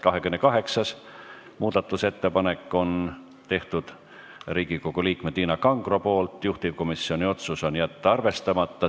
28. muudatusettepaneku on teinud Riigikogu liige Tiina Kangro, juhtivkomisjoni otsus on jätta arvestamata.